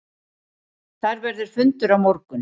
Þar verður fundur á morgun.